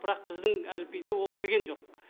бірақ біздің әліпбиде ол кірген жоқ